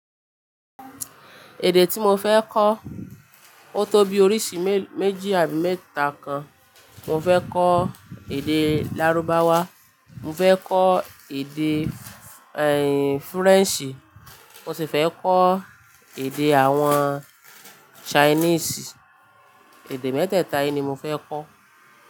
Èdè tí mo fẹ́ kọ́ ó tó bí-- melo, oríṣi méji àbí mẹ́ta kan. Mo fẹ́ kọ́ èdeè Lárúbáwá, mo fẹ́ kọ́ èdeè, ẹ̀in, Frenshi, mo sì fẹ́ kọ́ èdeè àwọn Chinese. Èdè mẹ́tẹ̀ta yìí ni mo fẹ́ kọ́.